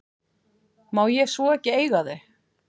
Má ég svo ekki eiga þau?